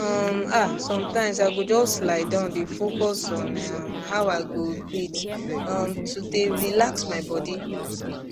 um ah sometimes i go just lie down dey focus on um how i go breathe um to dey relax my body